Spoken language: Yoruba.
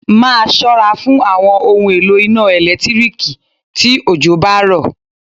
Máa ṣọ́ra fún àwọn ohun èlò iná ẹ̀lẹ́tíríkì tí òjò bá rọ̀.